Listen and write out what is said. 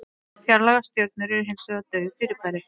Fjarlægar stjörnur eru hins vegar dauf fyrirbæri.